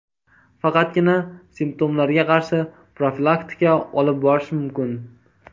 Faqatgina simptomlarga qarshi profilaktika olib borish mumkin.